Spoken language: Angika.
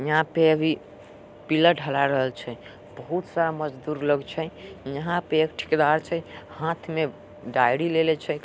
यहाँ पे अभी पिलर ढले रहल छै। बहुत सारा मजदूर लोग छै। यहां पे एक ठेकेदार छै। हाथ मे डायरी लेले छै एक।